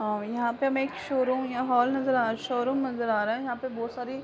अ यहां पे हमे एक शोरूम या हॉल नजर आ रहा शोरूम नजर आ रहा है। यहां बोहोत सारी --